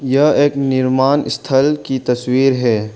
यह एक निर्माण स्थल की तस्वीर है।